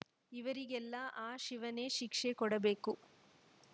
ಇವರಿಗೆಲ್ಲಾ ಆ ಶಿವನೇ ಶಿಕ್ಷೆ ಕೊಡಬೇಕು